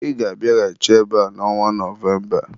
Ị ga-abịaghachi ebe a n'ọnwa Novemba!